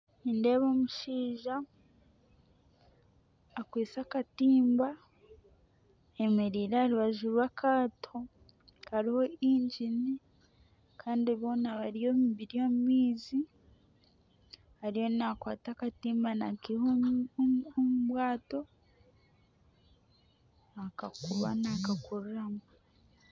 Nindeeba omushaija akwaitse akatimba ayemereire aha rubaju rw'akato, kariho ingini. Kandi boona bari omu biri omu maizi. Ariyo nakwata akatimba nakaiha omu omu omu bwato, nakakuba nakakururamu.